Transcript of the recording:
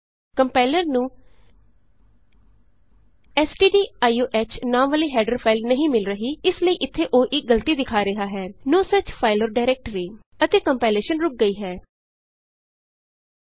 compiler ਨੂੰ stdio h ਨਾਂ ਵਾਲੀ ਹੈਡਰ ਫਾਈਲ ਨਹੀਂ ਮਿਲ ਰਹੀ ਇਸ ਲਈ ਇਥੇ ਉਹ ਇਕ ਗਲਤੀ ਦਿਖਾ ਰਿਹਾ ਹੈ no such file or directory ਅਜਿਹੀ ਕੋਈ ਫਾਈਲ ਜਾਂ ਡਾਇਰੈਕਟਰੀ ਨਹੀਂ ਹੈ ਅਤੇ ਕੰਪਾਇਲੇਸ਼ਨ ਰੁੱਕ ਗਈ ਹੈ